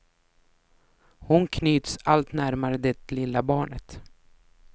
Hon knyts allt närmare det lilla barnet.